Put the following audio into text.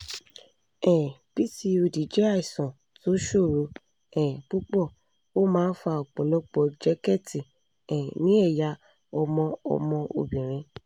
um pcod jẹ́ àìsàn tó ṣòro um púpọ̀ ó máa ń fa ọ̀pọ̀lọpọ̀ jẹ̀kẹ́tì um ní ẹ̀yà ọmọ ọmọ obìnrin